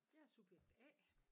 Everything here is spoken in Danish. Jeg er subjekt A